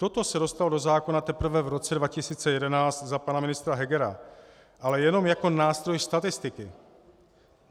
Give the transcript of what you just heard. Toto se dostalo do zákona teprve v roce 2011 za pana ministra Hegera, ale jenom jako nástroj statistiky.